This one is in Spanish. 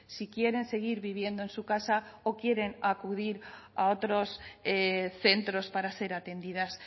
si quieren seguir viviendo en su casa o quieren acudir a otros centros para ser atendidas